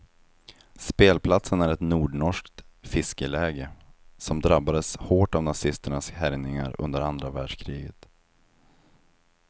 Spelplatsen är ett nordnorskt fiskeläge som drabbades hårt av nazisternas härjningar under andra världskriget.